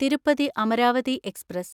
Tirupati Amaravati express